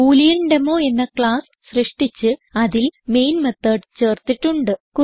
ബൂലിയാൻഡെമോ എന്ന ക്ളാസ് സൃഷ്ടിച്ച് അതിൽ മെയിൻ മെത്തോട് ചേർത്തിട്ടുണ്ട്